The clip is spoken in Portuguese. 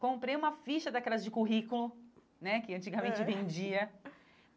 Comprei uma ficha daquelas de currículo, né, era que antigamente vendia.